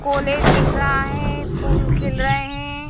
College दिख रहा है फूल खिल रहे हैं।